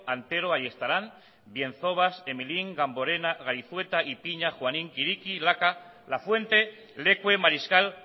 antero ayestaran bienzobas emilín gamborena gaizueta ipina juanín kiriki laca lafuente lecue mariscal